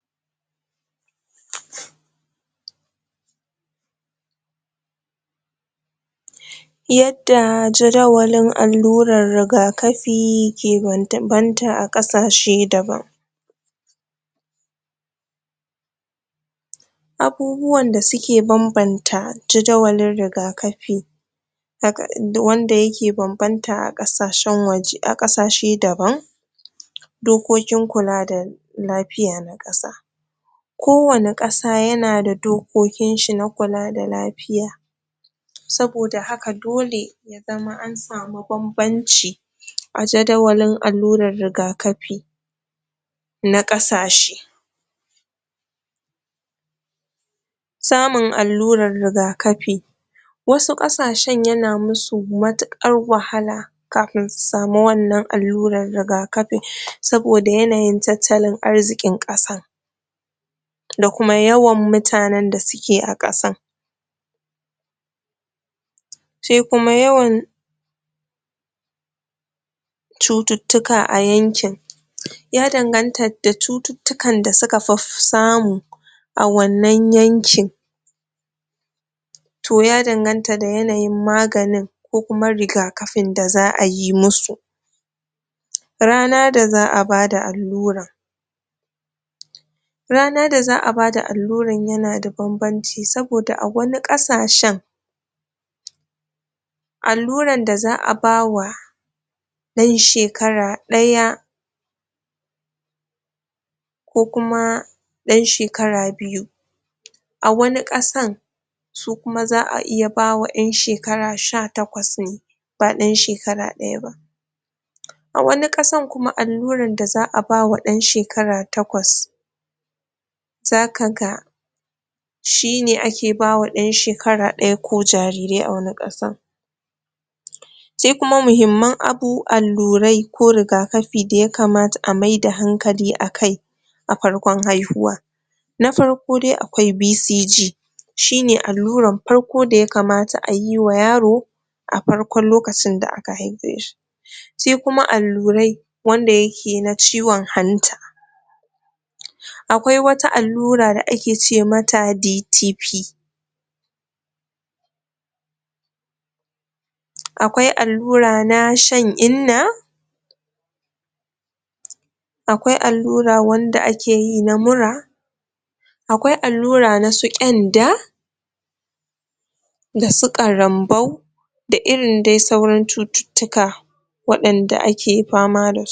Yadda jadawalin alluran rigakafi ke bambanta a ƙasashe daban abubuwan da suke bambanta jadawalin rigakafi wanda yake bambanta a ƙasashen waje ƙasashe daban dokokin kula da lafiya na ƙasa ko wani ƙasa yana da dokokin shi na kula da lafiya saboda haka dole ya zama an samu bambanci a jadawalin alluran rigakafi na ƙasashe samun alluran rigakafi wasu ƙasashen yana su matuƙar wahala kafin su samu wannan alluran rigakafi saboda yananyin tattalin arzikin ƙasar da kuma yawan mutanen da suke a ƙasan sai kuma yawan cututtuka a yankin ya danganta da cututtukan da suka fi samu a wannan yankin to ya danganta da yanayin maganin kko kuma rigakafin da za ayi musu ranar da za a bada alluran ranar da za a bada alluran yana da bambanci saboda a wani ƙasashen alluran da za a ba wa ɗan shekara ɗaya ko kuma ɗan shekara biyu a wani ƙasan su kuma za a iya ba wa ƴan shekara sha takwas ne ba ɗan shekara ɗaya ba a wani ƙasan kuma alluran da za a wa ɗan shekara takwas za ka ga shine ake ba wa ɗan shekara ɗaya ko jariri sai muhimman allurai ko rigakafi da ya kamata a maida hankali a kai a farkon haihuwa nafarko dai akwai BCG shine alluran farko da ya kamata ayi wa yaro a farkon lokacin da aka haife shi sai kuma allurai wanda yake na ciwon hanta akwai wata allura da ake ce mata DTP akwai allura na shan inna akwai allura wanda ake yi na mura akwai allura na su ƙyanda da su ƙarambau da irin dai sauran cututtuka waɗanda ake fama da su